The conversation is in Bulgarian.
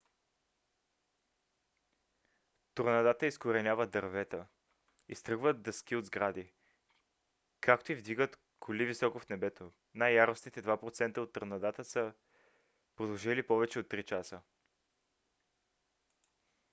торнадата изкореняват дървета изтръгват дъски от сгради както и вдигат коли високо в небето. най-яростните 2 процента от торнадата са продължили повече от три часа